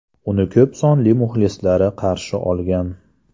Uni ko‘p sonli muxlislari qarshi olgan .